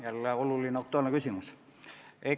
Jälle oluline aktuaalne küsimus!